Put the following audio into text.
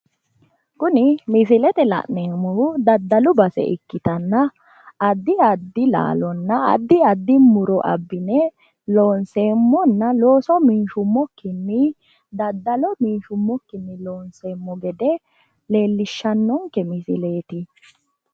Kuni misilete la'neemmohu daddalu base ikkitanna addi addi laalonna addi addi muro abbine loonseemmona looso minshummokkinni daddalo minshummokkinni loonseemmo gede leellishshannonke misileeti.